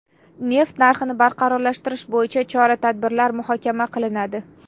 Neft narxini barqarorlashtirish bo‘yicha chora-tadbirlar muhokama qilinadi.